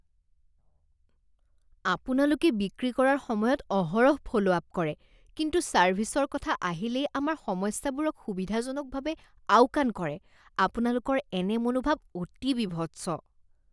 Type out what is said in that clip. আপোনালোকে বিক্ৰী কৰাৰ সময়ত অহৰহ ফ'ল' আপ কৰে কিন্তু ছাৰ্ভিছৰ কথা আহিলেই আমাৰ সমস্যাবোৰক সুবিধাজনকভাৱে আওকাণ কৰে আপোনালোকৰ এনে মনোভাৱ অতি বিভৎস।